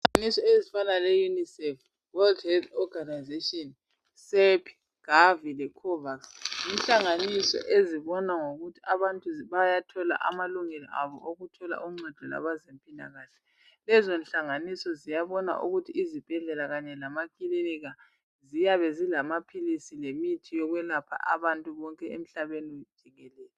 Inhlanganiso ezifana le Unicef, World health Organisation , Cep, Gavi le Covax zinhlanganiso ezibona ngokuthi abantu bayathola amalungelo abo okuthola uncedo lwabezempila kahle. Lezi nhlanganiso ziyabona ukuthi izibhedlela kanye lama clinika ziyabe zilamaphilisi lemithi yokwelapha abantu bonke emhlabeni jikelele.